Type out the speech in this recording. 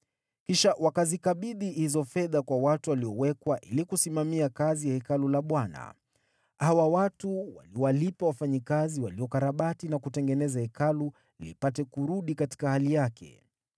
Kisha wakazikabidhi hizo fedha kwa watu waliowekwa ili kusimamia kazi ya Hekalu la Bwana . Hawa watu waliwalipa wafanyakazi waliokarabati na kutengeneza Hekalu lipate kurudi katika hali yake.